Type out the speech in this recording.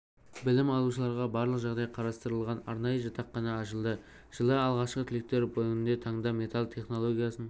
білім алушыларға барлық жағдай қарастырылған арнайы жатақхана ашылды жылы алғашқы түлектер бүгінгі таңда металл технологиясын